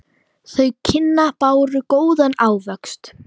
Þau kynni báru góðan ávöxt.